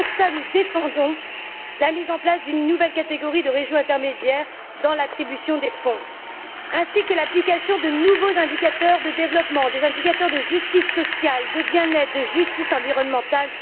C'est pour cela que nous défendons la mise en place d'une nouvelle catégorie de régions intermédiaires dans l'attribution des fonds, ainsi que l'application de nouveaux indicateurs de développement, des indicateurs de justice sociale, de bien être, de justice environnementale.